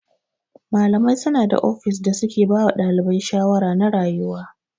Malamai suna da ofis da suke bawa ɗalibi shawara na rayuwa.